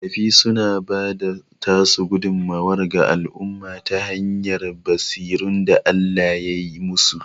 Makafi suna bada tasu gudummuwar ga al'umma ta hanyar basirun da Allah yai musu